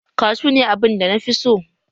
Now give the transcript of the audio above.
Kashu ne abunda nafi so